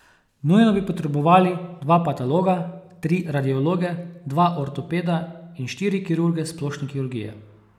Nujno bi potrebovali dva patologa, tri radiologe, dva ortopeda in štiri kirurge splošne kirurgije.